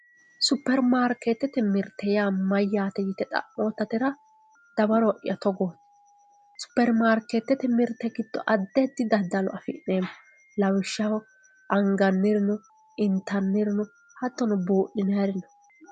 superimaarkeetete mirte mayyate yite xa'mootatera dawaro'ya togooti superimaarkeetete mirte giddo addi addi daddalo afi'neemmo lawishshaho anganniri no intanniri no hattono buudhinanniri no.